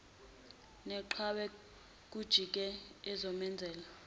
neqhwa kujeke ezomenzela